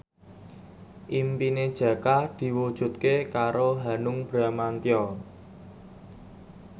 impine Jaka diwujudke karo Hanung Bramantyo